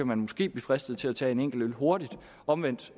man måske blive fristet til at tage en enkelt øl hurtigt omvendt